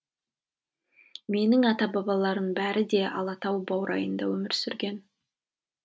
менің ата бабаларымның бәрі де алатау баурайында өмір сүрген